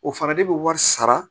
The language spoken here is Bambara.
O fana de bɛ wari sara